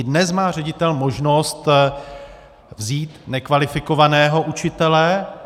I dnes má ředitel možnost vzít nekvalifikovaného učitele.